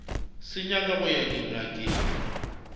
sa nyaka go ya dingakeng